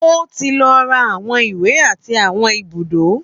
Ó ti lọ ra àwọn ìwé àti àwọn ibùdó.